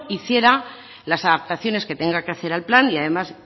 hiciera las adaptaciones que tengan que hacer al plan y además